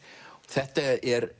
þetta er